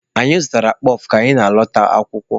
Anyị zụtaara kpọf ka anyị na-alọta akwụkwọ.